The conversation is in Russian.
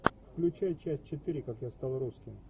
включай часть четыре как я стал русским